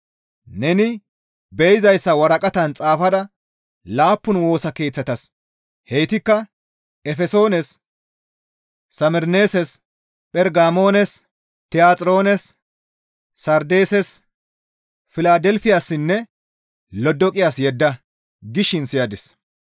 «Neni be7izayssa waraqatan xaafada laappun Woosa Keeththatas heytikka Efesoones, Samerneeses, Phergamoones, Tiyaxiroones, Sardeeses, Filadelfiyassinne Lodoqiyas yedda» gishin siyadis.